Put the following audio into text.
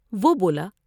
وہ بولا ۔